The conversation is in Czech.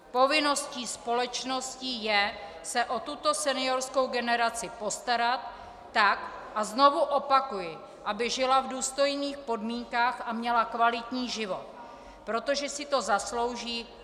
Povinností společnosti je se o tuto seniorskou generaci postarat tak, a znovu opakuji, aby žila v důstojných podmínkách a měla kvalitní život, protože si to zaslouží.